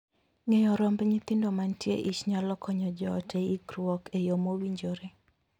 Ng'eyo romb nyithindo mantie eich nyalo konyo joot e ikruok e yoo mowinjore.